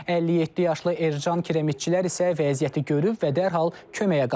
57 yaşlı Ercan Kirəmitçilər isə vəziyyəti görüb və dərhal köməyə qaçıb.